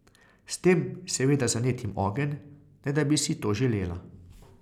S tem seveda zanetim ogenj, ne da bi si to želela.